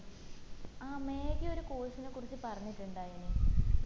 ആ മേഘ ഒരു course നെ കുറിച് പറഞ്ഞിട്ടുണ്ടയിന്